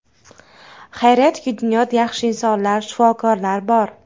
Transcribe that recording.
Xayriyatki, dunyoda yaxshi insonlar, shifokorlar bor.